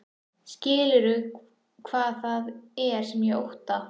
Skilurðu hvað það er sem ég óttast?